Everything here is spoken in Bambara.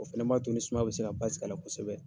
O fɛnɛ b'a to ni sumaya bɛ se ka basigi a la kosɛbɛ.